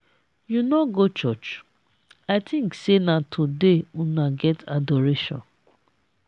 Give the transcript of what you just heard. you no go churuch? i think say na today una get adoration.